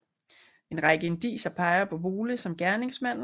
En række indicier peger på Vole som gerningsmanden